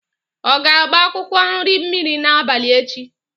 Ọ ga-agba akwụkwọ nri mmiri n'abalị echi?